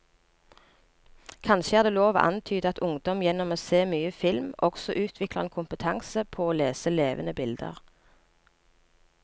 Kanskje er det lov å antyde at ungdom gjennom å se mye film også utvikler en kompetanse på å lese levende bilder.